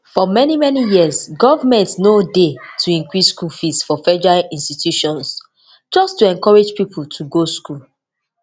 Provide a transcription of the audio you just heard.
for many many years goment no dey to increase school fees for federal institutions just to encourage pipo to go school